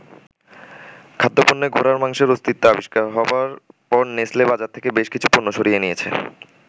খাদ্য-পণ্যে ঘোড়ার মাংসের অস্তিত্ব আবিষ্কার হবার পর নেসলে বাজার থেকে বেশ কিছু পণ্য সরিয়ে নিয়েছে।